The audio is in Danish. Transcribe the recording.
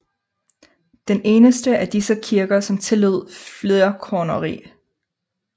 Den eneste af disse kirker som tillod flerkoneri